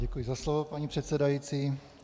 Děkuji za slovo, paní předsedající.